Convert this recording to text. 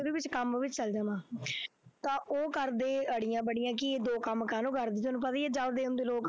ਉਹਦੇ ਵਿੱਚ ਕੰਮ ਵੀ ਚਲੇ ਜਾਣਾ ਤਾਂ ਉਹ ਕਰਦੇ ਅੜੀਆਂ ਬੜੀਆਂ ਕਿ ਦੋ ਕੰਮ ਕਾਹਨੂੰ ਕਰਦੀ ਤੈਨੂੰ ਪਤਾ ਹੀ ਹੈ ਜਲਦੇ ਹੁੰਦੇ ਲੋਕ।